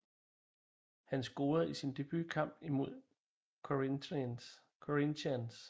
Han scorede i sin debut kamp imod Corinthians